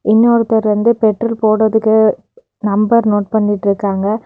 இன்னொருத்தர் வந்து பெட்ரோல் போடறதுக்கு நம்பர் நோட் பண்ணிட்ருக்காங்க.